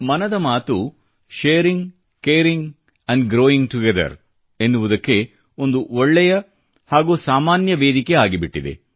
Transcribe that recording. ಮನದ ಮಾತು sharing caring and growing together ಎನ್ನುವುದಕ್ಕೆ ಒಂದು ಒಳ್ಳೆಯ ಹಾಗೂ ಸಾಮಾನ್ಯ ವೇದಿಕೆ ಆಗಿಬಿಟ್ಟಿದೆ